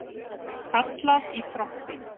Kallað í trompi.